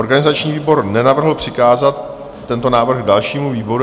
Organizační výbor nenavrhl přikázat tento návrh dalšímu výboru.